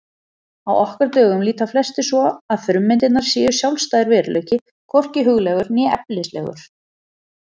Á okkar dögum líta flestir svo að frummyndirnar séu sjálfstæður veruleiki, hvorki huglægur né efnislegur.